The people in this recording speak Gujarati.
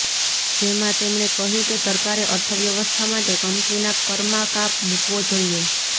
જેમા તેમણે કહ્યું કે સરકારે અર્થવ્યવસ્થા માટે કંપનીના કરમા કાપ મુકવો જોઈએ